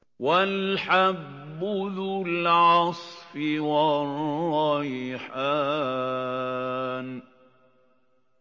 وَالْحَبُّ ذُو الْعَصْفِ وَالرَّيْحَانُ